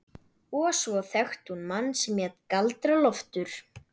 Og svo þekkti hún mann sem hét Galdra-Loftur.